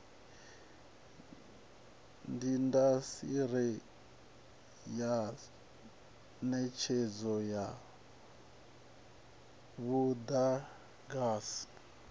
indasiteri ya netshedzo ya mudagasi